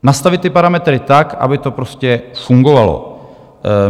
Nastavit ty parametry tak, aby to prostě fungovalo.